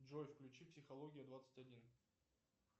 джой включи психология двадцать один